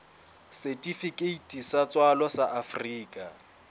setifikeiti sa tswalo sa afrika